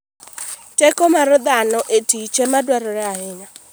Teko mar dhano e tich ema dwarore ahinya.